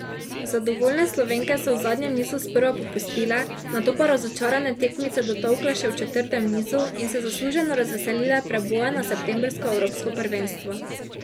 Zadovoljne Slovenke so v zadnjem nizu sprva popustile, nato pa razočarane tekmice dotolkle še v četrtem nizu in se zasluženo razveselile preboja na septembrsko evropsko prvenstvo.